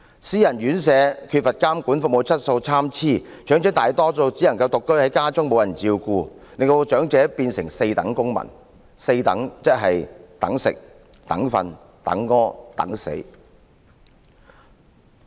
私營院舍缺乏監管，服務質素參差，長者大多數只能獨居家中，無人照顧，淪成"四等"公民，"四等"的意思就是等吃、等睡、等排泄、等死。